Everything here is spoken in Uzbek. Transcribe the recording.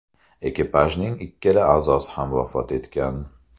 Ekipajning ikkala a’zosi ham vafot etgan.